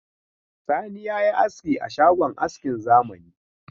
Sani ya yi aski a shagon askin zamani.